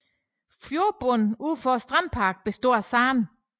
Fjordbunden ud for strandparken består af sand